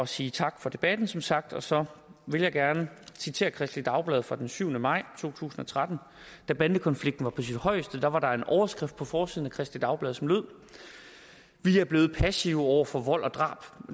sige tak for debatten som sagt og så vil jeg gerne citere kristeligt dagblad fra den syvende maj to tusind og tretten da bandekonflikten var på sit højeste var var der en overskrift på forsiden af kristeligt dagblad som lød vi er blevet passive over for vold og drab